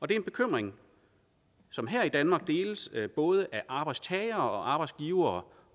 det er en bekymring som her i danmark deles både af arbejdstagere og arbejdsgivere